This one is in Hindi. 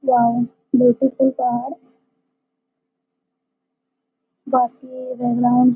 वाओ ब्यूटीफुल पहाड़ बाकि रहना --